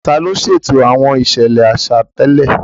Ta ló ṣètò àwọn ìṣẹ̀lẹ̀ àṣà tẹ́lẹ̀?